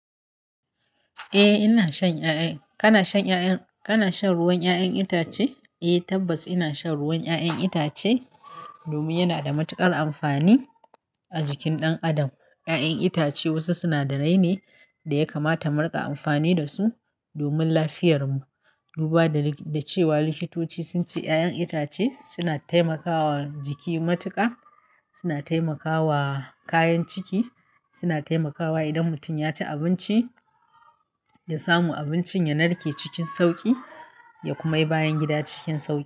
Eh ina shan ƴaƴan-- kana shan ƴaƴan-- kana shan ruwan ƴaƴan itace? Eh tabbas ina shan ruwan ƴaƴan itace domin yana da matuƙar amfani a jikin ɗan adam. Ƴaƴan itace wasu sinadarai ne da ya kamata mu riƙa amfani da su domin lafiyarmu. Duba da, da cewa likitoci sun ce ƴaƴan itace suna taimakawa jiki matuƙa, suna taimakawa kayan ciki, suna taimakawa idan mutum ya ci abinci da samu abincin ya narke cikin sauƙi ya kuma yi bayan gida cikin sauƙi.